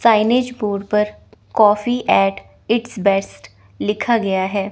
Signed border पर coffee at its best लिखा गया है।